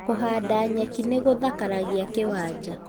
Kũhanda nyeki nĩ gũthakaragia kĩwanja